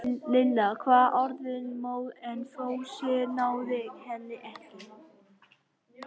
Lilla var orðin móð en Fúsi náði henni ekki.